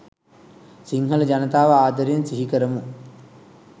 සිංහල ජනතාව ආදරයෙන් සිහිකරමු.